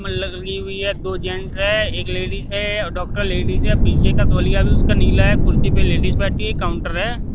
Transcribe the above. दो जेंट्स है एक लेडीज है और डॉक्टर लेडीज है पीछे का तोलिया भी उसका नीला है कुर्सी पर लेडिस बैठी है काउंटर है।